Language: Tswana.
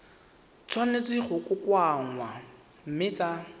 tshwanetse go kokoanngwa mme tsa